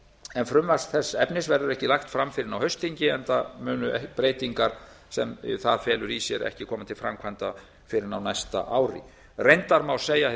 en frumvarp þess efnis verður ekki lagt fram fyrr en á haustþingi enda munu breytingar sem það felur í sér ekki koma til framkvæmda fyrr en á næsta ári reyndar má segja hið sama